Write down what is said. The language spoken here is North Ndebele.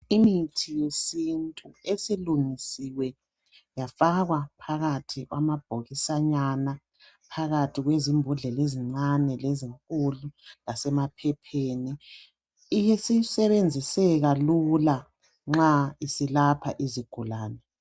Imithi yesintu esilungisiwe yafakwa phakathi kwamabhokisanyana, phakathi kwezimbodlela ezincane lezinkulu lasemaphepheni isisebenziseka lula nxa isilapha izigulane.